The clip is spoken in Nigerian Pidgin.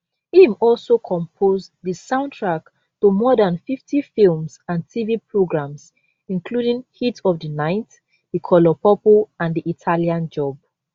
im also compose di soundtrack to more dan 50 films and tv programmes including heat of di night di color purple and di italian job